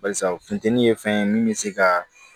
Barisa funtɛni ye fɛn ye min bɛ se ka